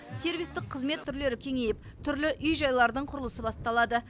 сервистік қызмет түрлері кеңейіп түрлі үй жайлардың құрылысы басталады